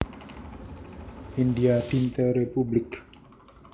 India Dinte Républik